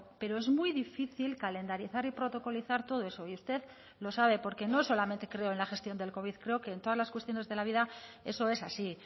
pero es muy difícil calendarizar y protocolizar todo eso y usted lo sabe porque no solamente creo en la gestión del covid creo que en todas las cuestiones de la vida eso es así